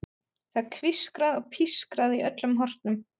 Það er hvískrað og pískrað í öllum hornum.